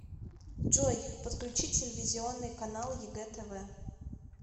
джой подключи телевизионный канал егэ тв